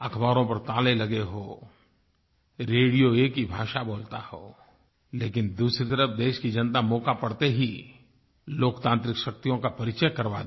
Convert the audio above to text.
अखबारों पर ताले लगे हों रेडियो एक ही भाषा बोलता हो लेकिन दूसरी तरफ देश की जनता मौका पड़ते ही लोकतांत्रिक शक्तियों का परिचय करवा दे